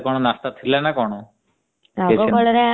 ହମ୍ ଆଗକାଳରେ କଣ ନାସ୍ତା ଥିଲା ନା କଣ। କିଛି ନୁହ।